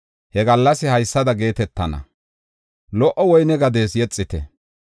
He gallas haysada geetetana: “Lo77o woyne gadiyas yexite;